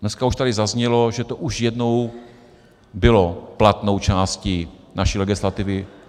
Dneska už tady zaznělo, že to už jednou bylo platnou částí naší legislativy.